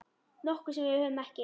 Nokkuð sem við höfum ekki.